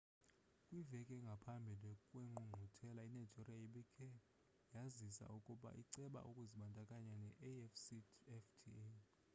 kwiveki engaphambi kwengqungquthela inigeria ibikhe yazisa ukuba iceba ukuzibandakanya ne-afcfta